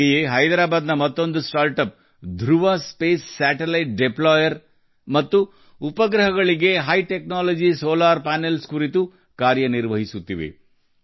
ಅದೇ ರೀತಿ ಹೈದರಾಬಾದ್ನ ಮತ್ತೊಂದು ನವೋದ್ಯಮ ಧ್ರುವ ಸ್ಪೇಸ್ ಉಪಗ್ರಹ ಡಿಪ್ಲೋಯರ್ ಮತ್ತು ಉಪಗ್ರಹಗಳಿಗಾಗಿ ಉನ್ನತ ತಂತ್ರಜ್ಞಾನದ ಸೌರ ಪ್ಯಾನಲ್ಗಳ ತಯಾರಿಕೆ ನಿಟ್ಟಿನಲ್ಲಿ ಕೆಲಸ ಮಾಡುತ್ತಿದೆ